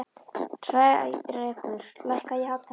Hrærekur, lækkaðu í hátalaranum.